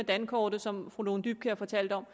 dankortet som fru lone dybkjær fortalte om